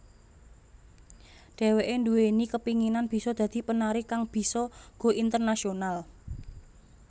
Dheweké nduweni kepinginan bisa dadi penari kang bisa go internasional